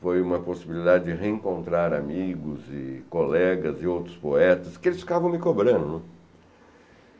Foi uma possibilidade de reencontrar amigos e colegas e outros poetas, que eles ficavam me cobrando, né.